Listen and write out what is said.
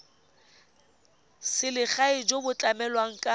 selegae jo bo tlamelang ka